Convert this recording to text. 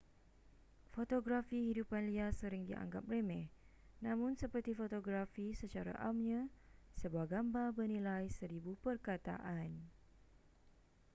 fotografi hidupan liar sering dianggap remeh namun seperti fotografi secara amnya sebuah gambar bernilai seribu perkataan